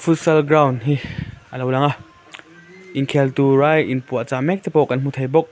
futsal ground hi alo lang a inkhel tur a in puahchah mek te kan hmu thei bawk.